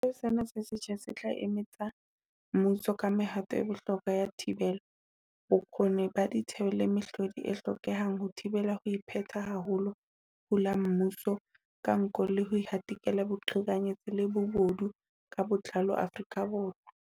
Setheo sena se setjha se tla eletsa mmuso ka mehato e bohlokwa ya thibelo, bokgoni ba ditheo le mehlodi e hlokehang ho thibela ho ipheta ha ho hula mmuso ka nko le ho hatikela boqhekanyetsi le bobodu ka botlalo Afrika Borwa.